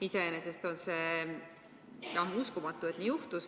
Iseenesest on see uskumatu, et nii juhtus.